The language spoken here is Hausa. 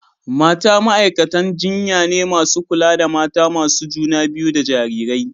mata ma’aikatan jinya ne masu kula da mata masu juna biyu da jarirai.